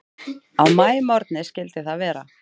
Á maímorgni skyldi það vera.